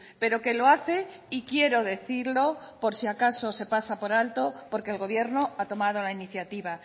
pero que lo hace y quiero decirlo por si acaso se pasa por alto porque el gobierno ha tomado la iniciativa